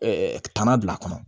tana bila a kɔnɔ